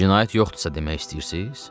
cinayət yoxdursa demək istəyirsiz?